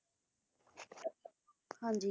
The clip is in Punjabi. ਹਾਂਜੀ